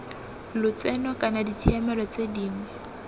lotseno kana ditshiamelo tse dingwe